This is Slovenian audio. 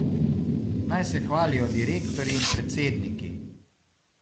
Naj se hvalijo direktorji in predsedniki.